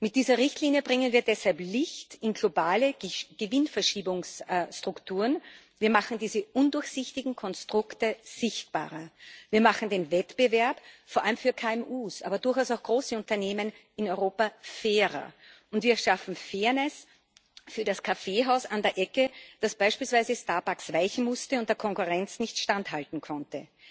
Mit dieser Richtlinie bringen wir deshalb Licht in globale Gewinnverschiebungsstrukturen, wir machen diese undurchsichtigen Konstrukte sichtbarer, wir machen den Wettbewerb vor allem für KMU, aber durchaus auch große Unternehmen in Europa fairer, und wir schaffen Fairness für das Kaffeehaus an der Ecke, das beispielsweise Starbucks weichen musste und der Konkurrenz nicht standhalten konnte.